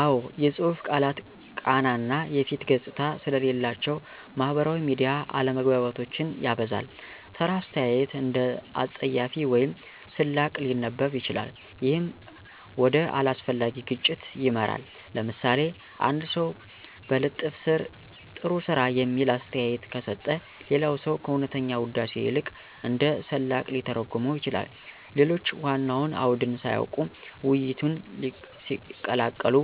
አዎ፣ የጽሁፍ ቃላት ቃና እና የፊት ገጽታ ስለሌላቸው ማህበራዊ ሚዲያ አለመግባባቶችን ያበዛል። ተራ አስተያየት እንደ አፀያፊ ወይም ስላቅ ሊነበብ ይችላል፣ ይህም ወደ አላስፈላጊ ግጭት ይመራል። ለምሳሌ፣ አንድ ሰው በልጥፍ ስር “ጥሩ ስራ” የሚል አስተያየት ከሰጠ፣ ሌላ ሰው ከእውነተኛ ውዳሴ ይልቅ እንደ ስላቅ ሊተረጉመው ይችላል። ሌሎች ዋናውን አውድን ሳያውቁ ውይይቱን ሲቀላቀሉ